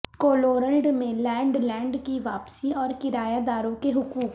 کولورلڈ میں land land کی واپسی اور کرایہ داروں کے حقوق